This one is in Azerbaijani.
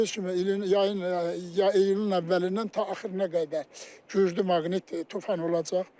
Bildiyiniz kimi yayın iyunun əvvəlindən ta axırına qədər güclü maqnit tufan olacaq.